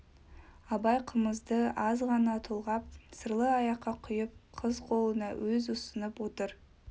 абай қымызды аз ғана толғап сырлы аяққа құйып қыз қолына өз ұсынып отырып